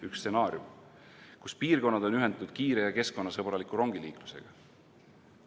Üks stsenaarium võiks olla, et piirkonnad on ühendatud kiire ja keskkonnasõbraliku rongiliiklusega.